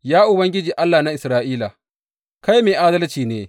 Ya Ubangiji Allah na Isra’ila, kai mai adalci ne!